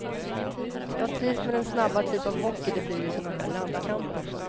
Jag trivs med den snabba typ av hockey det blir i såna här landskamper.